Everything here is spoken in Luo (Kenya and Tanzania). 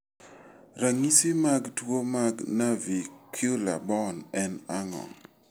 Ranyisi mag tuwo mag navicular bone en ang'o?